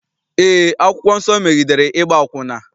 Eé, akwụkwọ nsọ megidere ịgba akwụna.